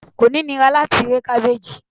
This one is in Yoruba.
ko nira lati re e kabeji